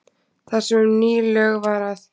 Þar sem um ný lög var að